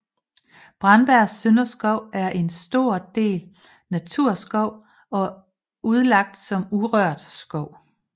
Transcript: Brandbjerg Sønderskov er for en stor del naturskov og er udlagt som urørt skov